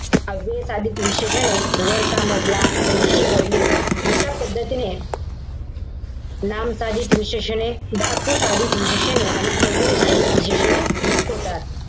अव्यय साधित विशेषणे, वरचा मजला, पुढची गल्ली. अशा पद्धतीने नाम साधित विशेषणे, धातू साधित विशेषणे, अव्यय साधित विशेषणे होतात.